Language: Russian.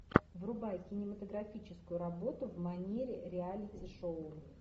врубай кинематографическую работу в манере реалити шоу